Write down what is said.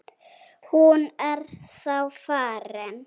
Hún er þá farin.